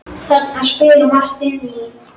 Guð geymi þig elsku systir.